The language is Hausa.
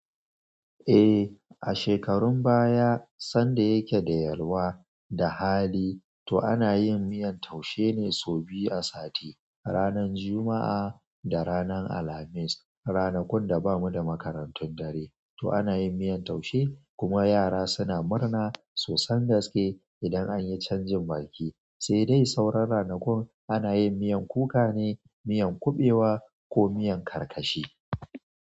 E a shekarun baya san da ya ke da yalwa da hali ana yin miyan taushe ne sau biyu a sati, ranar Juma'a da ranar Alhamis. Ranakun da bamu da makarantun dare to ana yin miyan taushe kuma yara suna murna sosan gaske idan anyi canjin baki. Sai dai sauran ranakun ana yin miyan kuka ne, miyan kuɓewa ko miyan karkashi.